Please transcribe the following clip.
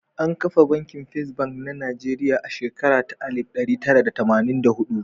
An kafa Banki Fes Bank na Nijeriya a shekara ta alif ɗari tara da tamanin da hudu.